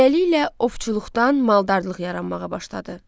Beləliklə, ovçuluqdan maldarlıq yaranmağa başladı.